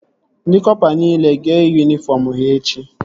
Ndị kọpa nile ga-eyi yunifọm ha echi